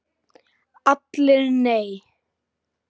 ALLIR: Nei!